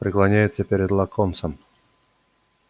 преклоняется перед локонсом